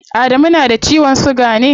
Adamu na da ciwon siga ne?